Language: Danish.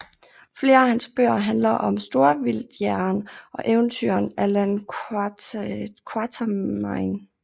Flere af hans bøger handler om storvildtjægeren og eventyreren Allan Quatermain